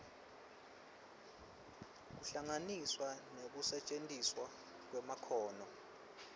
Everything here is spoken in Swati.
kuhlanganiswa nekusetjentiswa kwemakhono